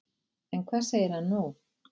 En hvað segir hann nú?